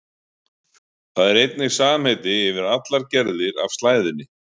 Það er einnig samheiti yfir allar gerðir af slæðunni.